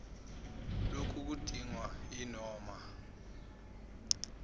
loku kudingwa yinoma